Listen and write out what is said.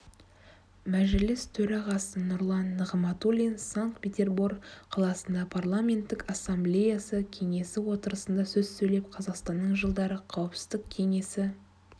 мәжіліс төрағасы нұрлан нығматулин санкт-петербор қаласында парламенттік ассамблеясы кеңесі отырысында сөз сөйлеп қазақстанның жылдары қауіпсіздік кеңесі